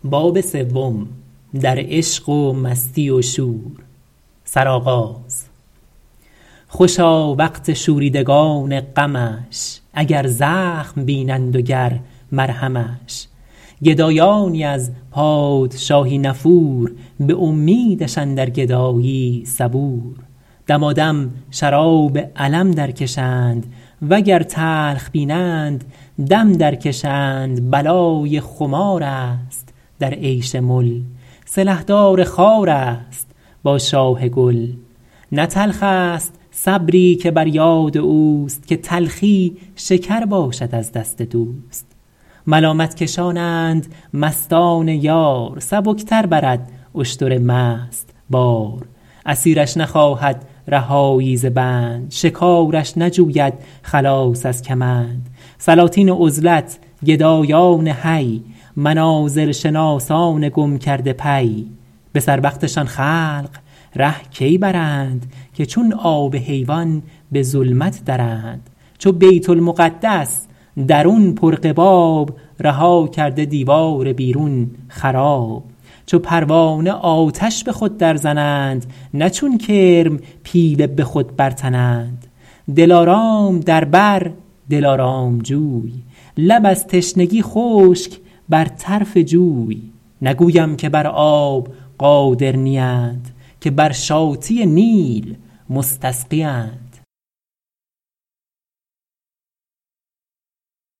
خوشا وقت شوریدگان غمش اگر زخم بینند و گر مرهمش گدایانی از پادشاهی نفور به امیدش اندر گدایی صبور دمادم شراب الم در کشند وگر تلخ بینند دم در کشند بلای خمار است در عیش مل سلحدار خار است با شاه گل نه تلخ است صبری که بر یاد اوست که تلخی شکر باشد از دست دوست ملامت کشانند مستان یار سبک تر برد اشتر مست بار اسیرش نخواهد رهایی ز بند شکارش نجوید خلاص از کمند سلاطین عزلت گدایان حی منازل شناسان گم کرده پی به سر وقتشان خلق ره کی برند که چون آب حیوان به ظلمت درند چو بیت المقدس درون پر قباب رها کرده دیوار بیرون خراب چو پروانه آتش به خود در زنند نه چون کرم پیله به خود برتنند دلارام در بر دلارام جوی لب از تشنگی خشک بر طرف جوی نگویم که بر آب قادر نیند که بر شاطی نیل مستسقیند